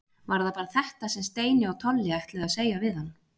Var það bara þetta sem Steini og Tolli ætluðu að segja við hann?